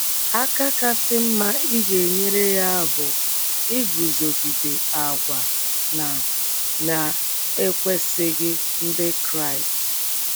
Aka kasị mma ị ga - enyere ya bụ iguzogide àgwà na na - ekwesịghị Ndị Kraịst.